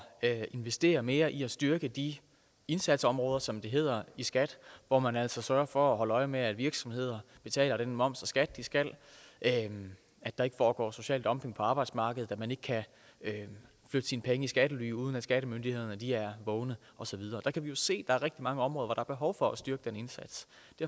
at investere mere i at styrke de indsatsområder som det hedder i skat hvor man altså sørger for at holde øje med at virksomheder betaler den moms og skat de skal at der ikke foregår social dumping på arbejdsmarkedet og at man ikke kan flytte sine penge i skattely uden at skattemyndighederne er vågne og så videre vi kan jo se at der er rigtig mange områder er behov for at styrke den indsats